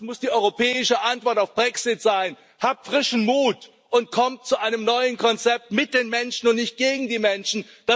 Das muss die europäische Antwort auf den Brexit sein Habt frischen Mut und kommt zu einem neuen Konzept mit den Menschen und nicht gegen die Menschen!